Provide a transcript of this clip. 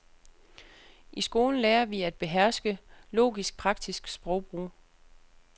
I skolen lærer vi at beherske logisk-praktisk sprogbrug.